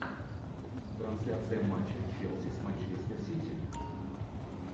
трансляция матча челси с манчестер сити